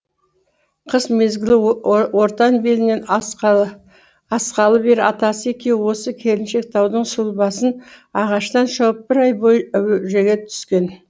қыс мезгілі ортан белінен асқалы бері атасы екеуі осы келіншектаудың сұлбасын ағаштан шауып бір ай бойы әуреге түскен